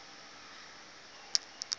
xa bathetha lo